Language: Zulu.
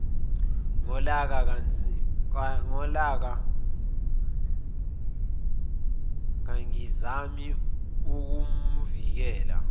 ngolaka kangizami ukumvikela